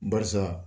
Barisa